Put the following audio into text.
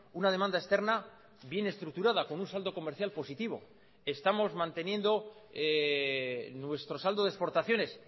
una demanda externa bien estructurada con un saldo comercial positivo estamos manteniendo nuestro saldo de exportaciones